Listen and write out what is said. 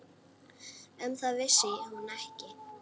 Um það vissi hún ekki.